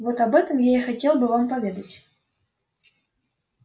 вот об этом я и хотел бы вам поведать